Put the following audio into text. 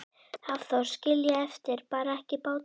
Hafþór: Skilja eftir, bar ekki báturinn meira?